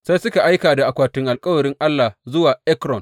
Sai suka aika da akwatin alkawarin Allah zuwa Ekron.